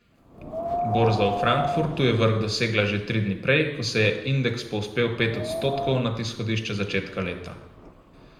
Borza v Frankfurtu je vrh dosegla že tri dni prej, ko se je indeks povzpel pet odstotkov nad izhodišče z začetka leta.